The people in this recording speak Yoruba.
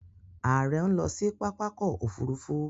Ààrẹ ń lọ sí pápákọ̀ òfurufú